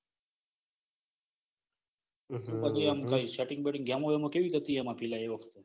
હમ તો બધું આમ કઈ setting ને બેટ્ટીન્ગ ગેમો બેમો કેવી હતી. પીલા એ વખતે.